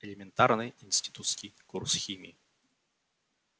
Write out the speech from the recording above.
элементарный институтский курс химии